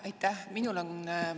Aitäh!